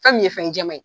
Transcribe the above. Fɛn min ye fɛn jɛman ye